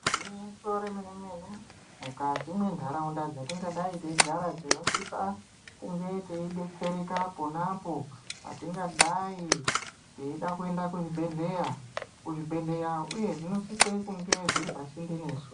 Ngwinyiso re mene mene mukati me ndaraunda dzatinga dai teigara tino sisa kunge tei betsereka pona po patingadai teida kuenda kuzvi bhedhleya kuzvi bhedhleya uyezve zvino sise kunge zviri pasinde nesu.